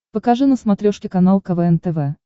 покажи на смотрешке канал квн тв